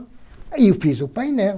Aí eu fiz o painel.